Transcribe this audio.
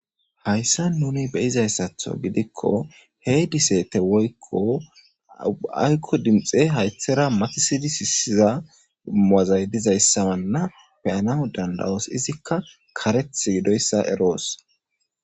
Hayssa nuni be izayssatho gidikko hey diseete woykko aykko dimxe haythera matisidi siisiza maazay dizayssa manna peyanahu dandawoos izikka kareth gidoyssa eroos.